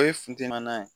O ye funteni na